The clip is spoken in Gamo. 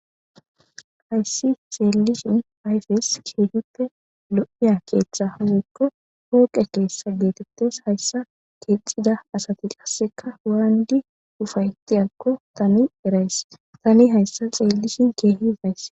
hayssi xeellishin ayfes keetippe lo7iya keeththa hawekko hooqe keessa geetettes hayssa keexida asati qasseka waanidi ufayti akko tani erays tani hayssa xeellishin keehi baysse